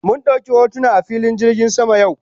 Mun dauki hotuna a filin jirgin sama yau